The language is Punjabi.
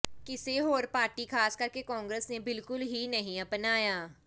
ਕਿਸੇ ਹੋਰ ਪਾਰਟੀ ਖ਼ਾਸ ਕਰ ਕੇ ਕਾਂਗਰਸ ਨੇ ਬਿਲਕੁਲ ਹੀ ਨਹੀਂ ਅਪਣਾਈਆਂ